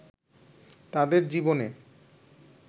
তাদের জীবনে